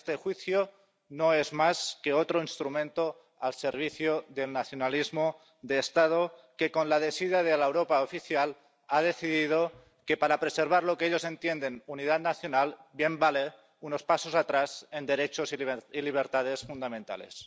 Este juicio no es más que otro instrumento al servicio del nacionalismo de Estado, que con la desidia de la Europa oficial ha decidido que preservar lo que ellos entienden por unidad nacional bien vale unos pasos atrás en derechos y libertades fundamentales.